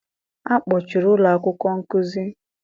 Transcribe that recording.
a kpọchiri ụlọ akwụkwọ nkuzi?